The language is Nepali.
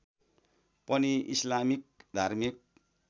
पनि इस्लामिक धार्मिक